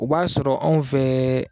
O b'a sɔrɔ anw fɛ